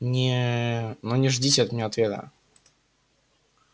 не но не ждите от меня ответа